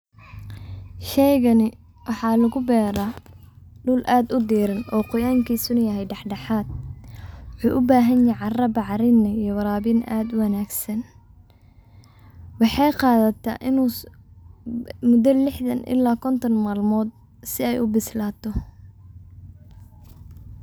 Shayygani waxa laguberaa dul adh udiran oo gorankisa naa yaxay daxdaxadh, wuxu ubahanyax caraa bacrin iyo warabin adh uwanagsan, wexeygadhataa inu mudo lixdan ila konton malmodh si ay ubislato.